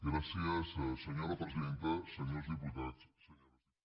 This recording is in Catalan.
gràcies senyora presidenta senyors diputats senyores diputades